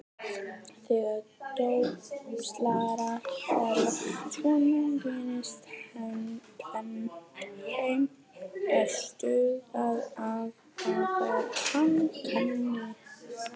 Þegar dópsalar hverfa svona gerist tvennt: Þeim er stútað eða þeir eru handteknir.